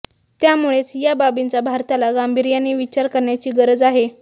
त्यामुळेच या बाबींचा भारताला गांभीर्याने विचार करण्याची गरज आहे